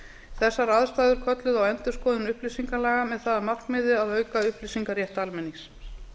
þessar aðstæður kölluðu á endurskoðun upplýsingalaga með það að markmiði að auka upplýsingarétt almennings